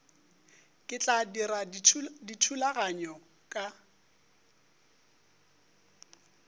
ke tla dira dithulaganyo ka